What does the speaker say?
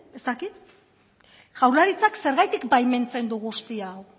ez dakit jaurlaritzak zergatik baimentzen du guzti hau